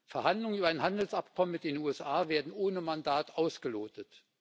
Verhandlungen über ein Handelsabkommen mit den USA werden ohne Mandat ausgelotet.